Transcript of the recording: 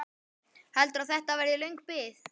Heldurðu að þetta verði löng bið?